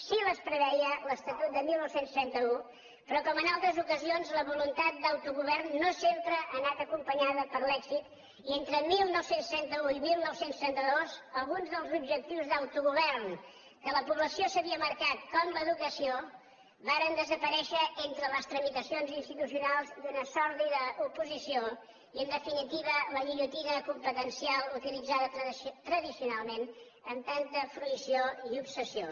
sí que les preveia l’estatut de dinou trenta u però com en altres ocasions la voluntat d’autogovern no sempre ha anat acompanyada per l’èxit i entre dinou trenta u i dinou trenta dos alguns dels objectius d’autogovern que la població s’havia marcat com l’educació varen desaparèixer entre les tramitacions institucionals i una sòrdida oposició i en definitiva la guillotina competencial utilitzada tradicionalment amb tanta fruïció i obsessió